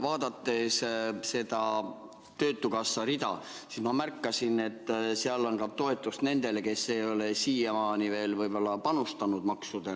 Vaadates seda töötukassa rida, ma märkasin, et seal on toetus ka nendele, kes ei ole siiamaani veel maksudena panustanud.